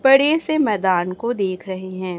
बड़े से मैदान को देख रहे हैं।